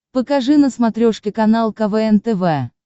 покажи на смотрешке канал квн тв